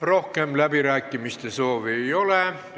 Rohkem läbirääkimiste soovi ei ole.